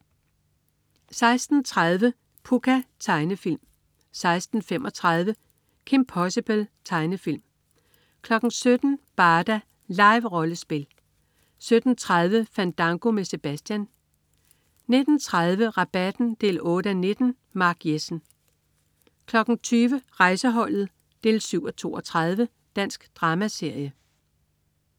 16.30 Pucca. Tegnefilm 16.35 Kim Possible. Tegnefilm 17.00 Barda. Live-rollespil 17.30 Fandango med Sebastian 19.30 Rabatten 8:19. Mark Jessen 20.00 Rejseholdet 7:32. Dansk dramaserie